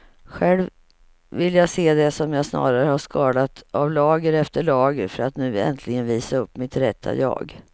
Själv vill jag se det som att jag snarare har skalat av lager efter lager för att nu äntligen visa upp mitt rätta jag.